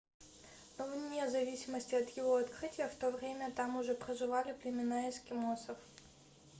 но вне зависимости от его открытия в то время там уже проживали племена эскимосов